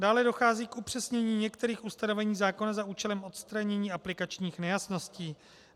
Dále dochází k upřesnění některých ustanovení zákona za účelem odstranění aplikačních nejasností.